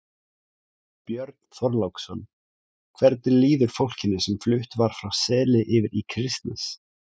Björn Þorláksson: Hvernig líður fólkinu sem flutt var frá Seli yfir í Kristnes?